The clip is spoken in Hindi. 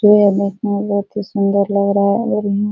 जो यहां देखने में यहां बहुत ही सुंदर लग रहा है और यहां --